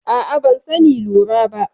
A'a, ban sani lura ba.